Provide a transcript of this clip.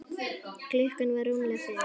Klukkan var rúmlega fimm.